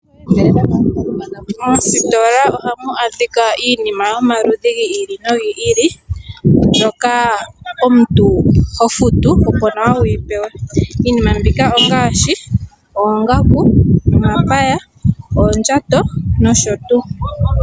Moositola ohamu adhika iinima yomaludhi gi ili nogi ili mbyoka omuntu ho futu opo nawa wuyi pewe, iinima mbika ongaashi oongaku, omapaya, oondjato nosho tuu.